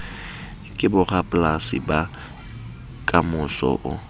be borapolasi ba kamoso o